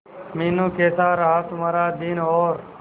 मीनू कैसा रहा तुम्हारा दिन और